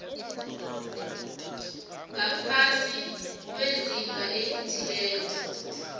ngaphasi kwezinga elithileko